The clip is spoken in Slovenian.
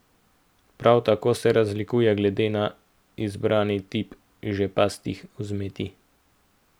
Prav tako se razlikuje glede na izbrani tip žepastih vzmeti.